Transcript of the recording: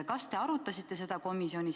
Kas te arutasite seda komisjonis?